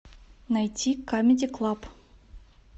найти камеди клаб